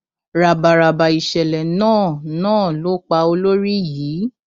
ràbàràbà ìṣẹlẹ náà náà ló pa olórí yìí